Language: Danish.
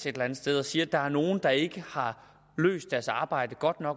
et eller andet sted sige at der er nogen der ikke har løst deres arbejdsopgave